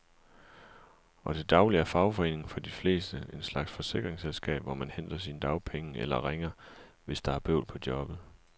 Og til daglig er fagforeningen for de fleste en slags forsikringsselskab, hvor man henter sine dagpenge eller ringer, hvis der er bøvl på jobbet.